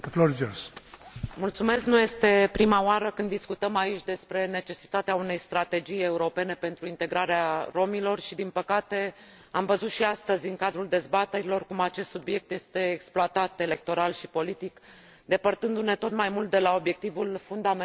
Nu este prima oară când discutăm aici despre necesitatea unei strategii europene pentru integrarea romilor și, din păcate, am văzut și astăzi în cadrul dezbaterilor cum acest subiect este exploatat electoral și politic, depărtându ne tot mai mult de la obiectivul fundamental al îmbunătățirii